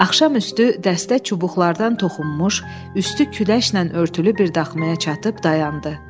Axşamüstü dəstə çubuqlardan toxunmuş, üstü küləşlə örtülü bir daxmaya çatıb dayandı.